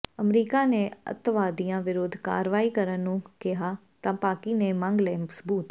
America ਨੇ ਅੱਤਵਾਦੀਆਂ ਵਿਰੁੱਧ ਕਾਰਵਾਈ ਕਰਨ ਨੂੰ ਕਿਹਾ ਤਾਂ ਪਾਕਿ ਨੇ ਮੰਗ ਲਏ ਸਬੂਤ